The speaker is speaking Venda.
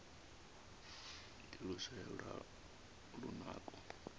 ndi luswayo lwa lunako